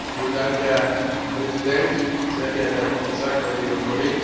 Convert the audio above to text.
Herr Präsident, sehr geehrter Herr Kommissar, Kolleginnen und Kollegen!